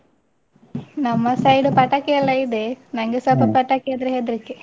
ನಮ್ಮ side ಪಟಾಕಿ ಎಲ್ಲ ಇದೆ, ನಂಗೆ ಸ್ವಲ್ಪ ಪಟಾಕಿ ಅಂದ್ರೆ ಹೆದ್ರಿಕೆ.